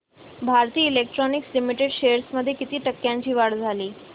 Bharat electronics limited shares मध्ये किती टक्क्यांची वाढ झाली